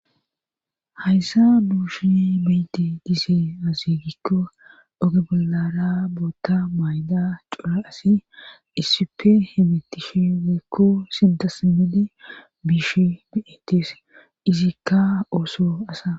hayssa duushui beyde dise azigikko oge bollara bootta mayda cora asi issippe hemittishi weykko sintasmidi biish bietes izikka ooso asa